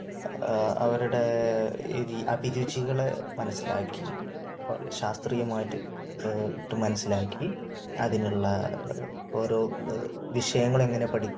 അവരുടെ അഭിരുചികളെ മനസ്സിലാക്കി, ശാസ്ത്രീയമായിട്ട് മനസ്സിലാക്കി അതിനുള്ള ഓരോ വിഷയങ്ങളെങ്ങനെ പഠി